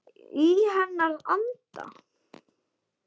Í hennar anda.